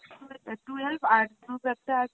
twelve আর group একটা আছে